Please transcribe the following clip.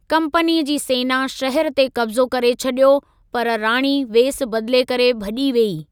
कंपनीअ जी सेना शहर ते कब्ज़ो करे छॾियो, पर राणी वेस बदिले करे भॼी वेई।